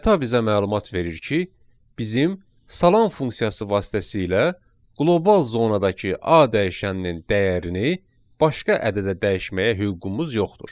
Xəta bizə məlumat verir ki, bizim salam funksiyası vasitəsilə qlobal zonadakı A dəyişəninin dəyərini başqa ədədə dəyişməyə hüququmuz yoxdur.